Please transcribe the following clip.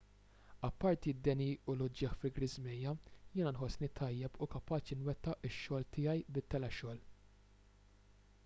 apparti d-deni u l-uġigħ fi ġriżmejja jiena nħossni tajjeb u kapaċi nwettaq ix-xogħol tiegħi bit-telexogħol